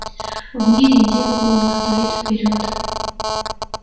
в мире дел было на сто лет вперёд